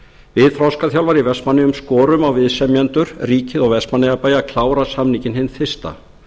við þroskaþjálfar í vestmannaeyjum skorum á viðsemjendur ríkið og vestmannaeyjabæ að klára samninginn hið fyrsta